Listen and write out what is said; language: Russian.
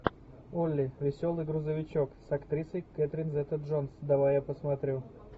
олли веселый грузовичок с актрисой кэтрин зета джонс давай я посмотрю